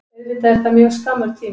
Auðvitað er það mjög skammur tími